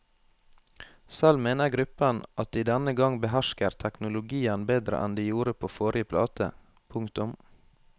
Selv mener gruppen at de denne gang behersker teknologien bedre enn de gjorde på forrige plate. punktum